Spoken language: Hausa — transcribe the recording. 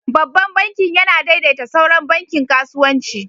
Babban bankin yana daidaita sauran bankin kasuwanci.